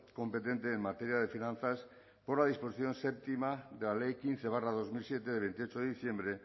competente en materia de finanzas por la disposición séptima de la ley quince barra dos mil siete de veintiocho de diciembre